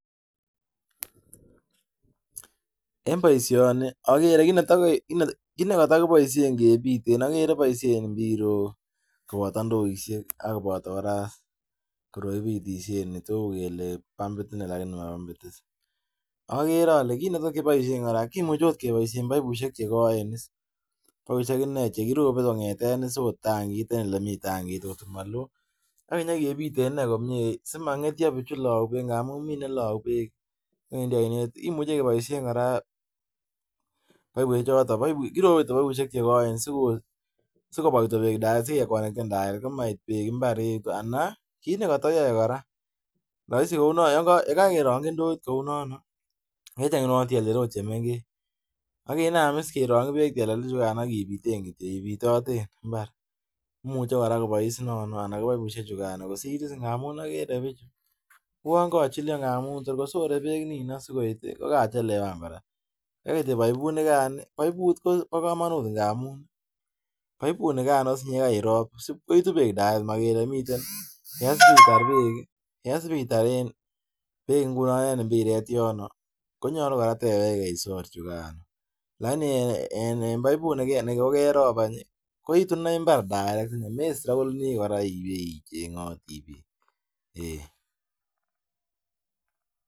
En boisioni ogere kiit nekotokiboisien kiiteen ogere boisien mbirok koboto ndoidiek ak koboto kora koroi kibitisien netou kele bambit inei lagini mobambit is, ogere ole kiit nekotokiboisien kora komuche ot keboisien baibusiek chegoen is, baibusiek inei chekirope kong'eten is ot tankit en olemiten tankit ng'ot ko maloo ak king'ekebiten inei komyee simong'etio bichu lou beek ng'amun mi ne lou beek en oinet, kimuche keboisien kora baibusiek choton, korope kityo baibusiek chegoen sikobwa kityo beek tirekt sigekonekten tirekt komait beek mbar anan kiit nekatoyoe kora, roisi kounon yekokerongyi ndoit kounon ii icheng' kou tyeltyel ot chemeng'ech akinaam is kerongyi beek tyeltyel ichugan ak ibiten kityo, ibitoten mbar, imuche kora kobois nono anan kobaibusiek chugano ngamun ogere bichu uon kochilyo ngamun tor kosore beek nino sikoit kokachelewan kora, kaigai kityo baibunigan, baibut kobo komonut ngamun baibunigan osinye yekariron sipkoitu beek tirekt mogere miten, yesiitsr beek ingunon en mbireek yono konyolu kora itewege isor chugano, lagini en baibut negegerob any koitu inei mbar tirekt, mestrakoleni kora icheng'oti beek.